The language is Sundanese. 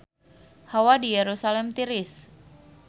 Hawa di Yerusalam tiris